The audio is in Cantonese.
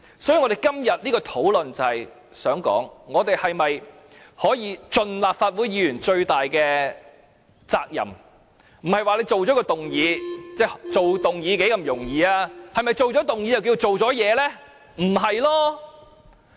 所以，今天的討論就是想說，我們可否盡立法會議員最大的責任，不要只是提出一項議案，提出議案有何難度呢？